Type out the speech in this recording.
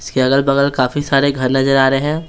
इसके अगल-बगल काफी सारे घर नजर आ रहे हैं।